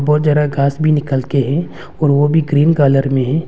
बहोत जादा घास भी निकल के हैं और वो भी ग्रीन कलर में हैं।